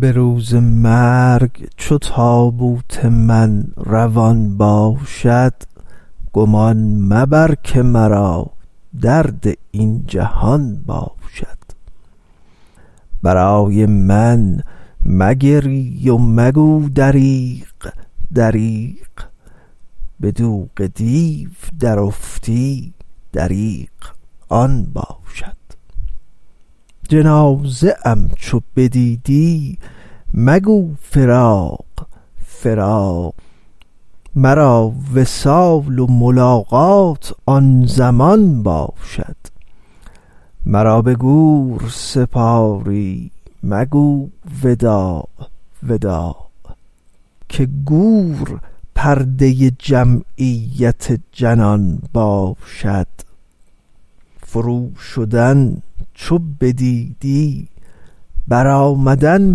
به روز مرگ چو تابوت من روان باشد گمان مبر که مرا درد این جهان باشد برای من مگری و مگو دریغ دریغ به دوغ دیو درافتی دریغ آن باشد جنازه ام چو ببینی مگو فراق فراق مرا وصال و ملاقات آن زمان باشد مرا به گور سپاری مگو وداع وداع که گور پرده جمعیت جنان باشد فروشدن چو بدیدی برآمدن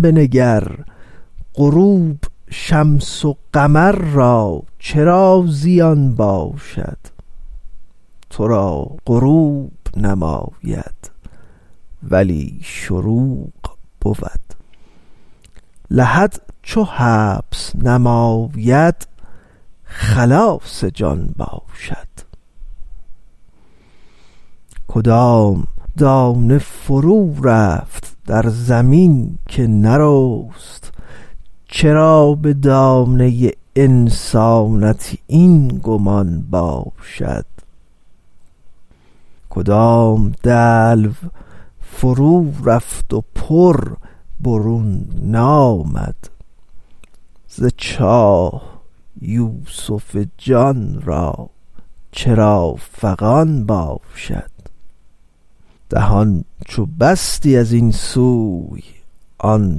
بنگر غروب شمس و قمر را چرا زیان باشد تو را غروب نماید ولی شروق بود لحد چو حبس نماید خلاص جان باشد کدام دانه فرورفت در زمین که نرست چرا به دانه انسانت این گمان باشد کدام دلو فرورفت و پر برون نامد ز چاه یوسف جان را چرا فغان باشد دهان چو بستی از این سوی آن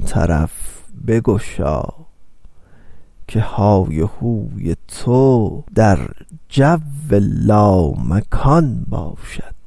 طرف بگشا که های هوی تو در جو لامکان باشد